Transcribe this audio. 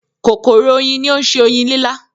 “kòkòrò oyin” ni ó ń se oyin lílá.